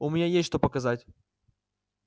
у меня есть что показать